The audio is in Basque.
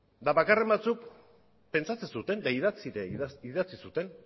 eta bakarren batzuk pentsatzen zuten eta idatzi ere idatzi zuten